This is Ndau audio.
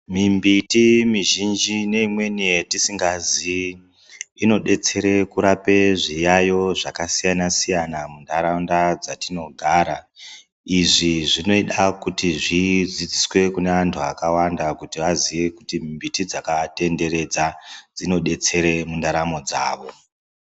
Mimbiti mizhinji neimweni yetisingaziyi inodetsere kurape zviyaiyo zvakasiyana-siyana muntaraunda dzatinogara. Izvi zvinoita kuti zvidzidziswe kuneantu akawanda kuti aziye kuti miti dzakaatenderedza dzinodetsera mundaramo dzavo.